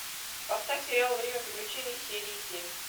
поставь сериал время приключений серии семь